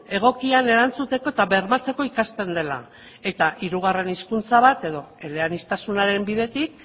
egokian erantzuteko eta bermatzeko ikasten dela eta hirugarren hizkuntza bat edo eleaniztasunaren bidetik